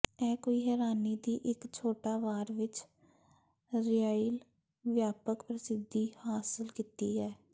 ਇਹ ਕੋਈ ਹੈਰਾਨੀ ਦੀ ਇੱਕ ਛੋਟਾ ਵਾਰ ਵਿੱਚ ਿਰਾਈਿਾਲ ਵਿਆਪਕ ਪ੍ਰਸਿੱਧੀ ਹਾਸਲ ਕੀਤੀ ਹੈ